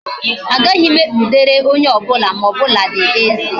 Agaghi m ekpudere onye obula ma, o buladi eze.